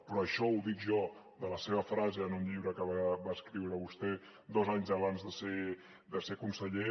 però això ho dic jo de la seva frase en un llibre que va escriure vostè dos anys abans de ser conseller